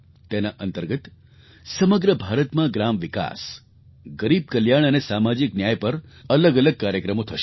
તેના અંતર્ગત સમગ્ર ભારતમાં ગ્રામ વિકાસ ગરીબ કલ્યાણ અને સામાજિક ન્યાય પર અલગઅલગ કાર્યક્રમો થશે